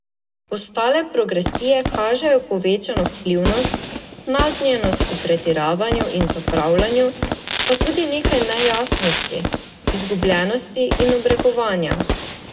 Ostale progresije kažejo povečano vplivnost, nagnjenost k pretiravanju in zapravljanju, pa tudi nekaj nejasnosti, izgubljenosti in obrekovanja.